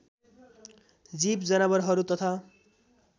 जीव जनावरहरू तथा